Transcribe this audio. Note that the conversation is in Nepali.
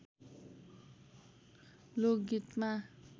लोक गीतमा